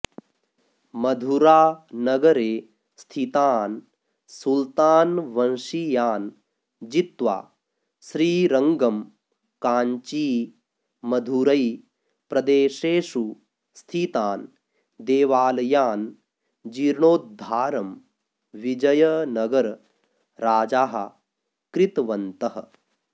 मधुरानगरे स्थितान् सुल्तानवंशीयान् जित्वा श्रीरङ्गम् काञ्ची मधुरै प्रदेशेषु स्थितान् देवालयान् जीर्णोध्दारम् विजयनगर राजाः कृतवन्तः